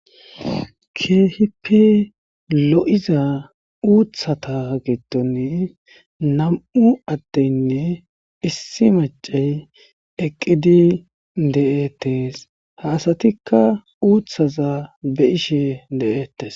Kehippe loo'za uththatha gidoni nammu' addenne issi maccay eqqidi dethess. Ha assathikka uththaza beishshe dethess.